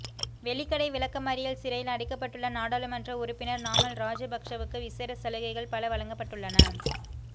வெலிக்கடை விளக்கமறியல் சிறையில் அடைக்கப்பட்டுள்ள நாடாளுமன்ற உறுப்பினர் நாமல் ராஜபக்சவுக்கு விசேட சலுகைகள் பல வழங்கப்பட்டுள்ளன